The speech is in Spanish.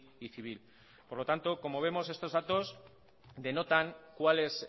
y civil por lo tanto como vemos estos datos denotan cuál es